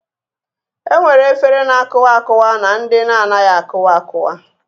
E nwere efere na-akụwa akụwa na ndị na-anaghị akụwa akụwa